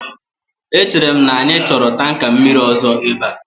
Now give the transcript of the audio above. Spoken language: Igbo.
Echere m na anyị chọrọ tanka mmiri ọzọ ebe a